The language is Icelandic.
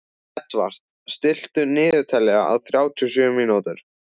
Edvard, stilltu niðurteljara á þrjátíu og sjö mínútur.